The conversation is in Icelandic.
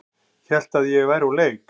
Hélt að ég væri úr leik